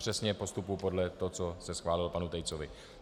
Přesně postupuji podle toho, co se schválilo panu Tejcovi.